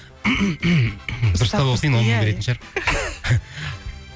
дұрыстап оқиын он мың беретін шығар